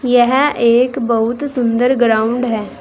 यह एक बहुत सुंदर ग्राउंड है।